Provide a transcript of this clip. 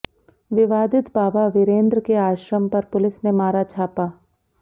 विवादित बाबा वीरेंद्र के आश्रम पर पुलिस ने मारा छापा